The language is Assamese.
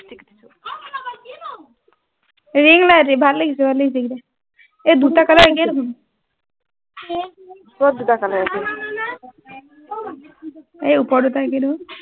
ring light হে ভাল লাগিছে ভাল লাগিছে এই গিতা এই দুটা color একেই দেখোন কত দুটা color আছে মা মা মা অ মা এই ওপৰ দুটা একেই